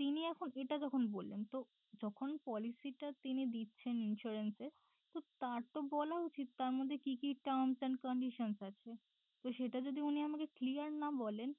তিনি এখন এটা তখন বললেন তো যখন policy টা তিনি দিচ্ছেন insurance এ তো তার তো বলা উচিত তার মধ্যে কি কি terms and conditions আছে তো সেটা যদি উনি আমাকে clear না বলেন